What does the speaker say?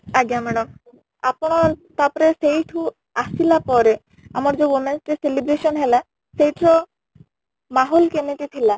ଆଜ୍ଞା madam , ଆପଣ ତା ପରେ ସେଇଠୁ ଆସିଲା ପରେ ଆମର ଯୋଉ women's day celebration ହେଲା ସେଇଠିର କେମିତି ଥିଲା ?